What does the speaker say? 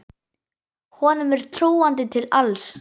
Honum er trúandi til alls.